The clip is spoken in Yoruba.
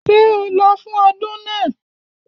Ṣé o lọ fún ọdún náà?